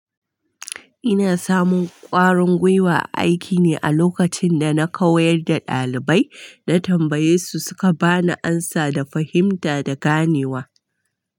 Ina samun ƙwarin gwiwa aiki ne a lokacin da na koyar da ɗalibai, na tambaye su suka ba ni amsa da fahimta da ganewa.